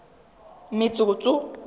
metsotso